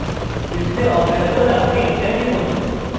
display অব্যাহত রাখতে enter টিপুন